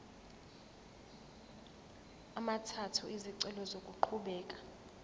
amathathu izicelo zokuqhubeka